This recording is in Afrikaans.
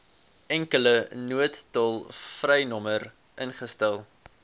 enkele noodtolvrynommer ingestel